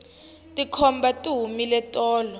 tikhomba ti humile tolo